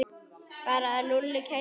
Bara að Lúlli kæmi nú.